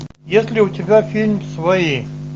есть ли у тебя фильм свои